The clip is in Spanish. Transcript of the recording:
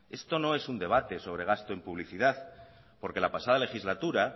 esto no es un debate sobre gasto en publicidad porque la pasada legislatura